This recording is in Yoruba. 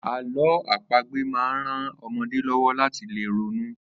Àló̩ àpagbè máa ń ran o̩mo̩dé ló̩wó̩ láti lè ronú